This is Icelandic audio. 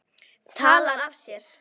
Talar af sér.